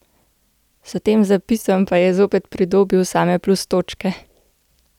S tem zapisom pa je zopet pridobil same plus točke!